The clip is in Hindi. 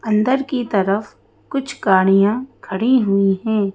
अंदर की तरफ कुछ गाड़ियां खड़ी हुई हैं।